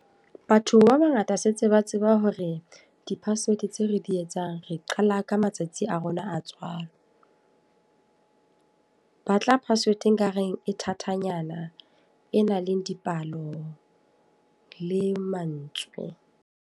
Batho ba bangata setse ba tseba hore di-password tseo re di etsang, re qala ka matsatsi a rona a tswalo. Batla password e kareng e thathanyana e nang le dipalo le mantswe.